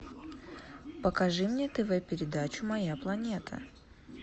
покажи мне тв передачу моя планета